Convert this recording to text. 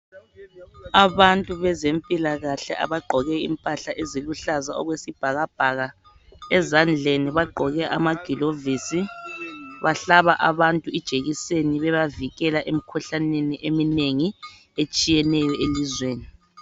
Abantu bezempilakahle abagqoke impahla eziluhlaza okwesibhakabhaka. Ezandleni bagqoke ama glovisi, bahlaba abantu ijekiseni ebavikela emikhuhlaneni eminengi etshiyeneyo elizweni